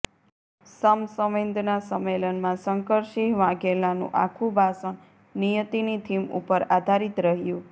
સમ સંવેદના સંમેલનમાં શંકરસિંહ વાઘેલાનુ આખુ ભાષણ નિયતીની થીમ ઉપર આધારિત રહ્યુ